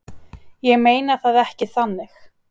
Ég meina það ekki þannig.